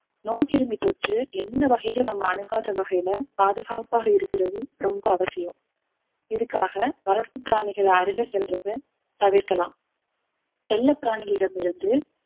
நோய்க்கிருமி தொற்று எந்த வகையிலும் நம்ம அணுகாத வகையில பாதுகாப்பாக இருக்கிறது ரொம்ப அவசியம் இதுக்காக வளர்ப்பு பிராணிகளை அருகில் செல்றதை தவிர்க்கலாம் செல்லப்பிராணிகளிடம் இருந்து